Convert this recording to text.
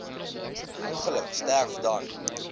ongeluk sterf dan